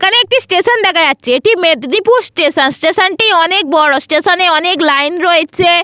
এখানে একটি স্টেশন দেখা যাচ্ছে। এটি মেদিনীপুর স্টেশন স্টেশন -টি অনেক বড় স্টেশন এ অনেক লাইন রয়েছে।